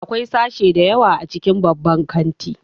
Akwai sashe da yawa a cikin babban kanti